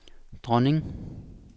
dronning